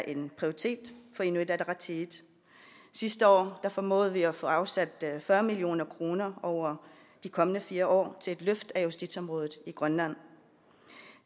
en prioritet for inuit ataqatigiit sidste år formåede vi at få afsat fyrre million kroner over de kommende fire år til et løft af justitsområdet i grønland